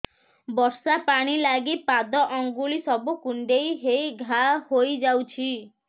ବର୍ଷା ପାଣି ଲାଗି ପାଦ ଅଙ୍ଗୁଳି ସବୁ କୁଣ୍ଡେଇ ହେଇ ଘା ହୋଇଯାଉଛି